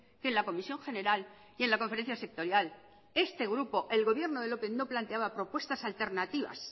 que la comisión general y en la conferencia sectorial este grupo el gobierno del lópez no planteaba propuestas alternativas